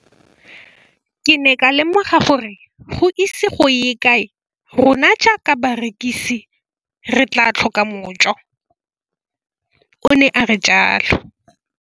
Ke ne ka lemoga gore go ise go ye kae rona jaaka barekise re tla tlhoka mojo, o ne a re jalo.